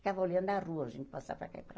Ficava olhando a rua, gente, passar para cá e para